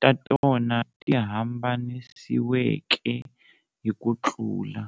ta tona ti hambanisiweke hi kutlula.